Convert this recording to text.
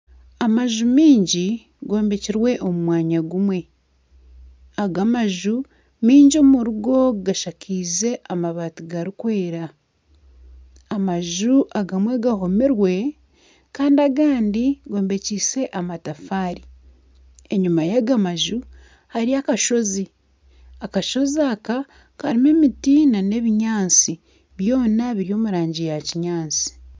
Amaju mingi gombekirwe omu mwanya gumwe, aga amaju mingi omuri go gashakiize amabaati garikwera, amaju agamwe gahomire kandi agandi gombekise amatafaari, enyima yaga maju hariyo akashozi, akashozi aka karimu emiti nana ebinyaatsi byona biri omu rangi ya kinyaatsi